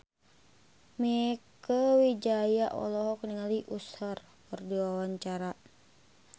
Mieke Wijaya olohok ningali Usher keur diwawancara